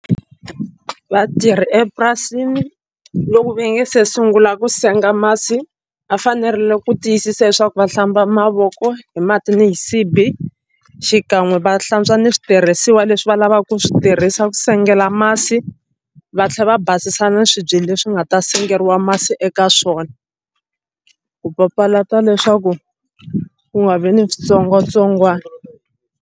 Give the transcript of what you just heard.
Vatirhi epurasini loko va nge se sungula ku senga masi va fanerile ku tiyisisa leswaku va hlamba mavoko hi mati ni xisibi xikan'we va hlantswa ni switirhisiwa leswi va lavaka ku swi tirhisa ku sengela masi va tlhela va basisa na swibye leswi nga ta sengeriwa masi eka swona ku papalata leswaku ku nga vi ni switsongwatsongwana.